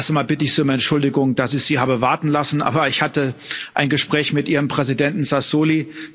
Zuerst einmal bitte ich Sie um Entschuldigung, dass ich Sie habe warten lassen, aber ich hatte ein Gespräch mit Ihrem Präsidenten Sassoli.